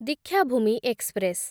Dikshabhoomi express